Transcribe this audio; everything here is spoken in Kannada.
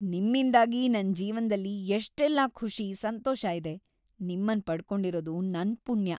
ನಿಮ್ಮಿಂದಾಗಿ ನನ್‌ ಜೀವನ್ದಲ್ಲಿ ಎಷ್ಟೆಲ್ಲ ಖುಷಿ, ಸಂತೋಷ ಇದೆ. ನಿಮ್ಮನ್‌ ಪಡ್ಕೊಂಡಿರದು ನನ್‌ ಪುಣ್ಯ.